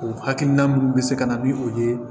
O hakilina minnu bɛ se ka na ni o ye